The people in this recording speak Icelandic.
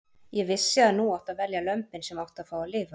Ég vissi að nú átti að velja lömbin sem áttu að fá að lifa.